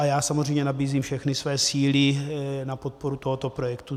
A já samozřejmě nabízím všechny svoje síly na podporu tohoto projektu.